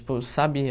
Tipo, sabe...